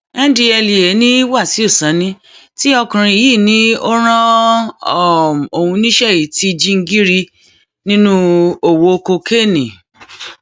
ndtea ni wáṣíù sanni tí ọkùnrin yìí ní ó ó rán um òun níṣẹ yìí ti jingíri nínú owó kokéènì um